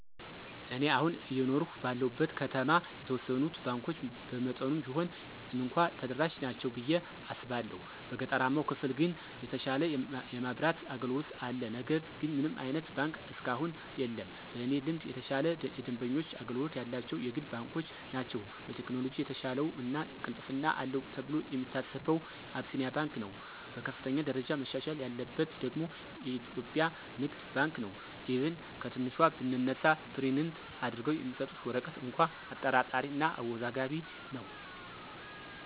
እኔ አሁን አየኖርሁ ባለሁበት ከተማ የተወሰኑት ባንኮች በመጠኑም ቢሆን እንኳ ተደራሽ ናቸው ብየ አስባለሁ። በገጠራማው ክፍል ግን የተሻለ የማብራት አገልግሎት አለ ነገር ግን ምንም አይነት ባንክ እስካሁን የለም። በእኔ ልምድ የተሻለ የደንበኞች አገልግሎት ያላቸው የግል ባንኮች ናቸው። በቴክኖሎጅ የተሻለው እና ቅልጥፍና አለው ተብሎ የሚታሰበው አቢሲንያ ባንክ ነው። በከፍተኛ ደረጃ መሻሻል ያለበት ደግሞ ኢትዮጵያ ንግድ ባንክ ነው፤ ኢቭን ከትንሿ ብንነሳ ፕሪንት አድርገው የሚሰጡት ወረቀት እንኳ አጠራጣሪ እና አወዛጋቢ ነው።